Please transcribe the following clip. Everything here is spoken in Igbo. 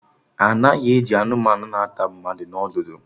Anaghị eji anụmanụ na ata mmadụ na ọdụdụ